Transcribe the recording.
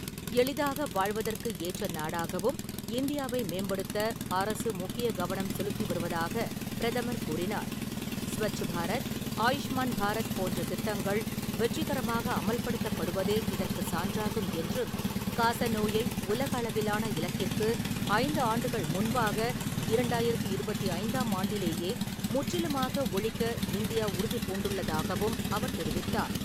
எளிதாக வாழ்வதற்கு ஏற்ற நாடாகவும் இந்தியாவை மேம்படுத்த அரசு முக்கிய கவனம் செலுத்தி வருவதாக பிரதமர் கூறினார். ஸ்வச் பாரத், ஆயுஷ்மான் பாரத் போன்ற திட்டங்கள் வெற்றிகரமாக அமல்படுத்தப்படுவதே இதற்குச் சான்றாகும் என்றும், காச நோயை உலக அளவிலான இலக்கிற்கு ஐந்து ஆண்டுகள் முன்பாக இரண்டாயிரத்து இருபத்தைந்தாம் ஆண்டிலேயே முற்றிலுமாக ஒழிக்க இந்தியா உறுதி பூண்டுள்ளதாகவும் அவர் தெரிவித்தார்.